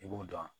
I b'o dɔn